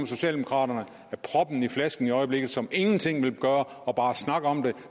socialdemokraterne er proppen i flasken i øjeblikket som ingenting vil gøre og bare snakker om det